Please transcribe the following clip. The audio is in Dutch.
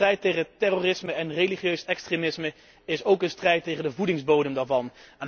Maar de strijd tegen terrorisme en religieus extremisme is ook een strijd tegen de voedingsbodem daarvan.